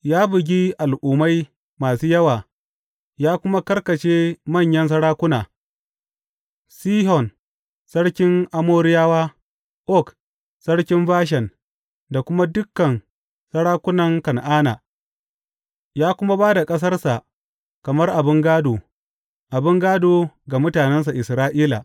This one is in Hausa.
Ya bugi al’ummai masu yawa ya kuma karkashe manyan sarakuna, Sihon sarkin Amoriyawa, Og sarkin Bashan da kuma dukan sarakunan Kan’ana, ya kuma ba da ƙasarsa kamar abin gādo, abin gādo ga mutanensa Isra’ila.